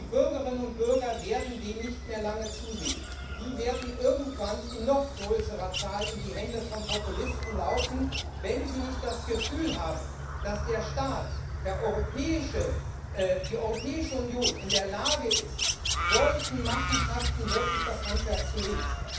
Die Bürgerinnen und Bürger werden dem nicht mehr lange zusehen. Die werden irgendwann in noch größerer Zahl in die Hände von Populisten laufen, wenn sie nicht das Gefühl haben, dass der Staat, die Europäische Union, in der Lage ist, solchen Machenschaften wirklich das Handwerk zu legen.